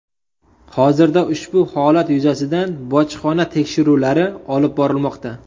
Hozirda ushbu holat yuzasidan bojxona tekshiruvlari olib borilmoqda.